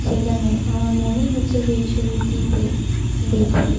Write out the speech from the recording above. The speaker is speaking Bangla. সেখানে আমার মনে হচ্ছে যে এই ছবিটিতে দেখে ।